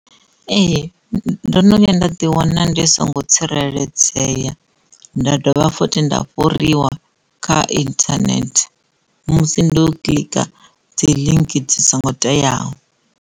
Ee, ndo no vhuya nda ḓi wana ndi songo tsireledzea nda dovha fothi nda fhuriwa kha internet musi ndi u koḽika dzi ḽinki dzi songo teaho.